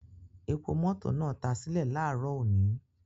Epo mọto naa ta sile laaro oni